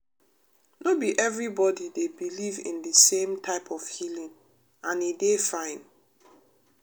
no be everybody dey believe in de same type of healing and e dey fine.